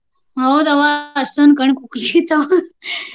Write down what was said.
ಹೌದವ್ವ ಅಷ್ಟೊಂದು ಕಣ್ಣ ಕುಕ್ಕಿ .